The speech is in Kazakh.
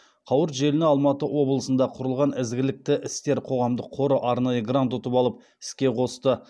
қауырт желіні алматы облысында құрылған ізгілікті істер қоғамдық қоры арнайы грант ұтып алып іске қосты